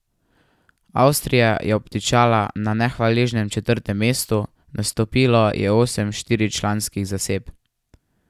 Avstrija je obtičala na nehvaležnem četrtem mestu, nastopilo je osem štiričlanskih zasedb.